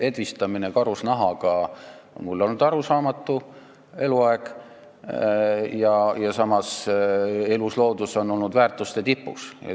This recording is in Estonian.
Edvistamine karusnahaga on mulle olnud eluaeg arusaamatu ja samas on elusloodus olnud väärtuste tipus.